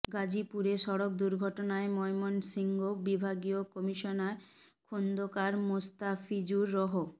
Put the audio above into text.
গাজীপুরে সড়ক দুর্ঘটনায় ময়মনসিংহ বিভাগীয় কমিশনার খোন্দকার মোস্তাফিজুর রহ